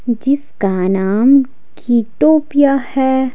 जिसका नाम कीटोपिया है।